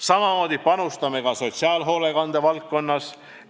Samamoodi panustame sotsiaalhoolekande valdkonnas.